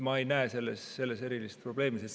Ma ei näe selles erilist probleemi.